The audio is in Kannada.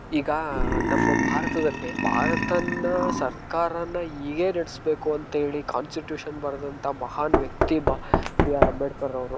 ಈಗ ನಮ್ಮ ಭಾರತದಲ್ಲಿ ಭರತದ ಸರ್ಕಾರ ಹೇಗೆ ನಡಿಸ್ಬೇಕು ಅಂತ ಹೇಳಿ ಕಾಂನ್ಸ್ಟಿಟ್ಯೂಷನ್ ಬರೆದಂತಹ.